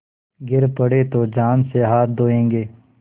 गिर पड़े तो जान से हाथ धोयेंगे